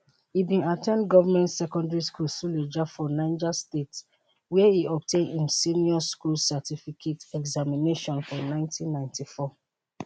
e bin at ten d government secondary school suleja for niger state wia e obtain im senior school certificate examination for 1994